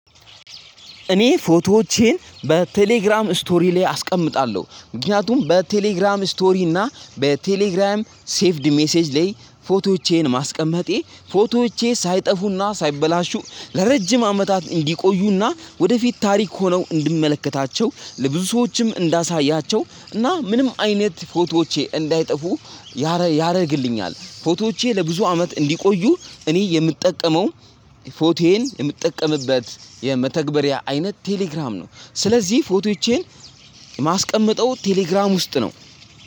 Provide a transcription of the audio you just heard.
እኔ ፎቶዎቼን በቴሌግራም ስቶሪ ላይ አስቀምጣለሁ ምክንያቱም በቴሌግራም ስቶሪ እና በቴሌግራም ሴቭድ ሜሴጅ ላይ ፎቶዎቼን ማስቀመጤ ፎቶዎቼ ሳይጠፉ እና ሳይበላሹ ለረጂም አመታት እንዲቆዩና ወደፊት ታሪክ ሆነው እንድመለከታቸው ለብዙ ሰዎችም እንዳሳያቸው እና ምንም አይነት ፎቶዎቼ እንዳይጠፉ ያደርግልኛል ፎቶዎቼ ለብዙ አመት እንዲቆዩ። እኔ የምጠቀመው ፎቶዬን የምጠቀምበት የመተግበሪያ አይነት ቴሌግራም ነው። ስለዚህ ፎቶዎቼን የማስቀምጠው ቴሌግራም ውስጥ ነው።